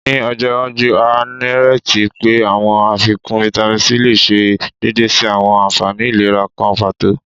Ni ojo iwaju, a nireti pe awọn afikun Vitamin C le ṣe deede si awọn anfani ilera kan pato